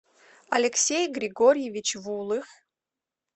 алексей григорьевич вулых